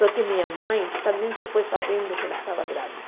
Só que minha mãe também se foi sabendo que ela estava grávida.